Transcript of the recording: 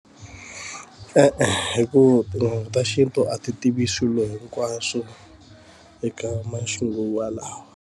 E-e hikuva tin'anga ta xintu a ti tivi swilo hinkwaswo eka maxinguvalawa.